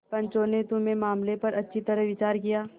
पंचों ने तुम्हारे मामले पर अच्छी तरह विचार किया